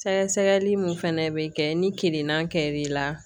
Sɛgɛsɛgɛli min fana bɛ kɛ ni kirina kɛr'i la